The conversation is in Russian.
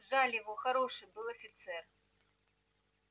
жаль его хороший был офицер